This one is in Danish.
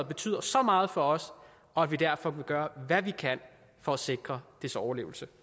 betyder så meget for os og at vi derfor vil gøre hvad vi kan for at sikre dets overlevelse